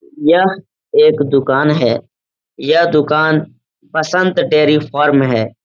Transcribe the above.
यह एक दुकान है। यह दुकान बसंत डेरी फॉर्म है।